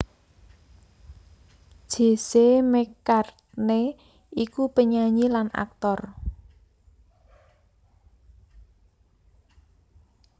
Jesse McCartney iku penyanyi lan aktor